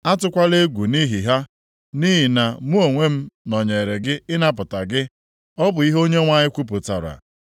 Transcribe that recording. Atụkwala egwu nʼihi ha, nʼihi na mụ onwe nọnyere gị ịnapụta gị,” ọ bụ ihe Onyenwe anyị kwupụtara.